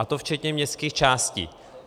A to včetně městských částí.